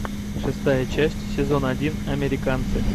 шестая часть сезон один американцы